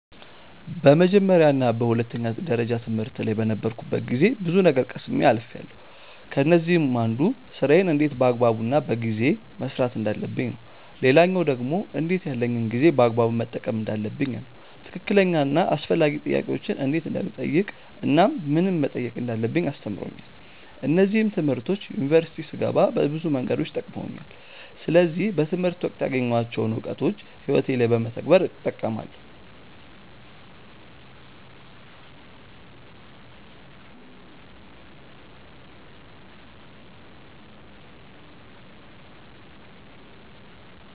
በመጀመርያ እና በሁለተኛ ደረጃ ትምህርት ላይ በነበርኩበት ጊዜ ብዙ ነገር ቀስሜ አልፍያለው። ከነዚህም አንዱ ስራዬን እንዴት በአግባቡ እና በጊዜ መስራት እንዳለብኝ ነው። ሌላኛው ደግሞ እንዴት ያለኝን ጊዜ በአግባቡ መጠቀም እንዳለብኝ ነው። ትክክለኛ እና አስፈላጊ ጥያቄዎችን እንዴት እንደምጠይቅ እናም ምንን መጠየቅ እንዳለብኝ አስተምሮኛል። እነዚህም ትምህርቶች ዩኒቨርሲቲ ስገባ በብዙ መንገዶች ጠቅመውኛል። ስለዚህ በትምህርት ወቅት ያገኘኋቸውን እውቀቶች ህይወቴ ላይ በመተግበር እጠቀማለው።